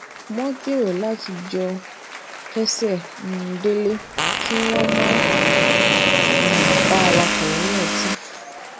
wón gbero láti jọ kese um dele kí wón má um bàa wakò leyin otí